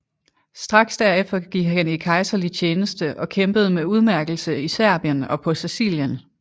Straks derefter gik han i kejserlig tjeneste og kæmpede med udmærkelse i Serbien og på Sicilien